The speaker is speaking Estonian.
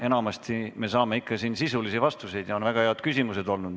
Enamasti me saame siin ikka sisulisi vastuseid ja on väga head küsimused olnud.